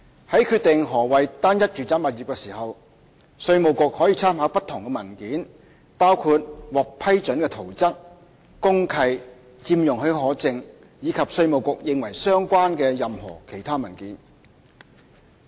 在決定何謂單一住宅物業時，稅務局可參考不同文件，包括獲批准的圖則、公契、佔用許可證，以及稅務局認為相關的任何其他文件。